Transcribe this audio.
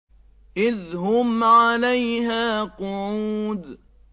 إِذْ هُمْ عَلَيْهَا قُعُودٌ